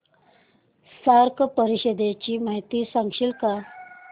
SAARC परिषदेची माहिती सांगशील का